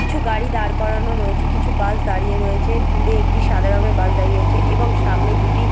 কিছু গাড়ি দাঁড় করানো রয়েছে কিছু বাস দাঁড়িয়ে রয়েছে দূরে একটি সাদা রঙের বাস দাঁড়িয়ে রয়েছে এবং সামনে দুটি --